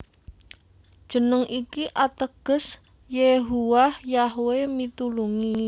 Jeneng iki ateges Yehuwah Yahwe mitulungi